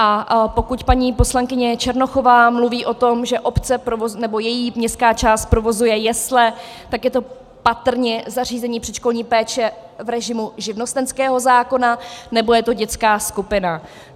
A pokud paní poslankyně Černochová mluví o tom, že obec nebo její městská část provozuje jesle, tak je to patrně zařízení předškolní péče v režimu živnostenského zákona nebo je to dětská skupina.